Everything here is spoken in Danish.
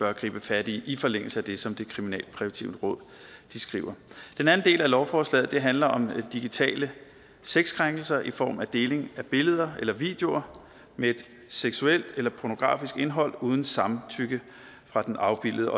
at gribe fat i i forlængelse af det som det kriminalpræventive råd skriver den anden del af lovforslaget handler om digitale sexkrænkelser i form af deling af billeder eller videoer med et seksuelt eller pornografisk indhold uden samtykke fra den afbildede